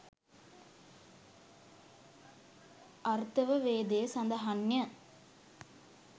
අථර්ව වේදයේ සඳහන්ය.